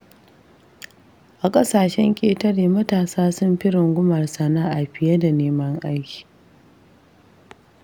A ƙasashen ƙetare matasa sun fi rungumar sana'a fiye da neman aiki.